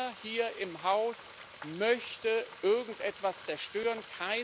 Keiner hier im Haus möchte irgendetwas zerstören.